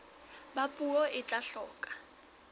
ba puo e tla hloka